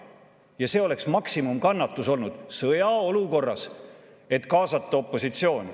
Ja see oleks maksimumkannatus olnud sõjaolukorras, et kaasata opositsioon.